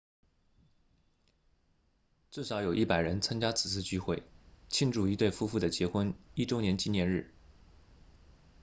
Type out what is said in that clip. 至少有100人参加此次聚会庆祝一对夫妇的结婚一周年纪念日